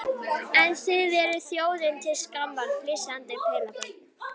En þið þið eruð þjóðinni til skammar, flissandi pelabörn.